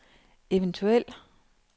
eventuel